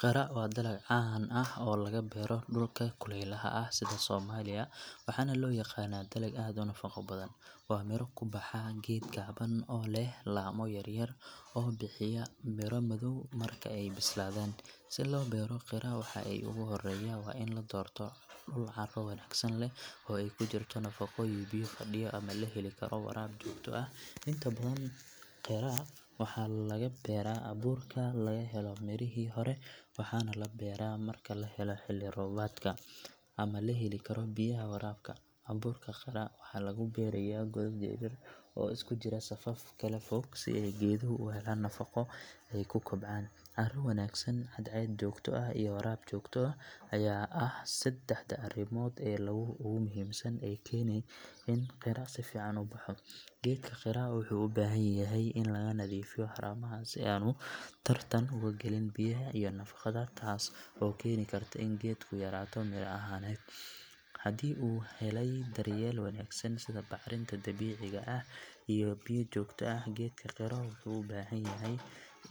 Qira waa dalag caan ah oo laga beero dhulka kulaylaha ah sida Soomaaliya waxaana loo yaqaanaa dalag aad u nafaqo badan. Waa miro ku baxa geed gaaban oo leh laamo yaryar oo bixiya miro madow marka ay bislaadaan. Si loo beero qira waxa ugu horreeya waa in la doorto dhul carro wanaagsan leh oo ay ku jirto nafaqo iyo biyo fadhiya ama la heli karo waraab joogto ah. Inta badan qira waxaa laga beeraa abuurka laga helo mirihii hore waxaana la beeraa marka la helo xilli roobaadka ama la heli karo biyaha waraabka. Abuurka qira waxaa lagu beerayaa godad yar yar oo isku jira safaf kala fog si ay geeduhu u helaan firaaqo ay ku kobcaan. Carro wanaagsan, cadceed joogto ah iyo waraab joogto ah ayaa ah saddexda arrimood ee ugu muhiimsan ee keena in qira si fiican u baxo. Geedka qira wuxuu u baahan yahay in laga nadiifiyo haramaha si aanu tartan uga galin biyaha iyo nafaqada taas oo keeni karta in geedku yaraato miro ahaaneed. Haddii uu helay daryeel wanaagsan sida bacrinta dabiiciga ah iyo biyo joogto ah geedka qira wuxuu bilaabaa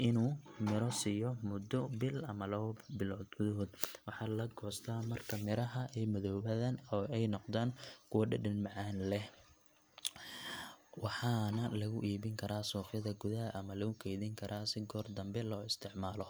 in uu midho siiyo muddo bil ama laba gudahood. Waxaa la goostaa marka miraha ay madoobaan oo ay noqdaan kuwa dhadhan macaan leh waxaana lagu iibin karaa suuqyada gudaha ama lagu keydin karaa si goor dambe loo isticmaalo.